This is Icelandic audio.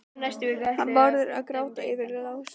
Hann Bárður að gráta yfir honum Lása!